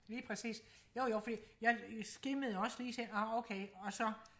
lige præcis jo jo fordi jeg skimmede også lige så ah okay og så